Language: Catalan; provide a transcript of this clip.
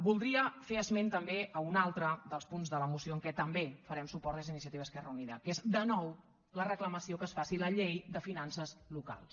voldria fer esment també a un altre dels punts de la moció en què també farem suport des d’iniciativa i esquerra unida que és de nou la reclamació que es faci la llei de finances locals